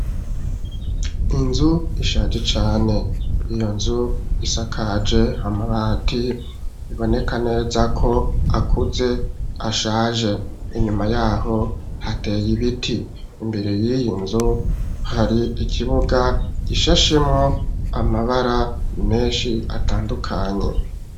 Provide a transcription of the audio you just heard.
Inzu ishaje cane, iyo nzu isakaje amabati biboneka neza ko akuze ashaje ,inyuma yaho hateye ibiti, imbere yiyi nzu hari ikibuga gishashemwo amabara menshi atandukanye.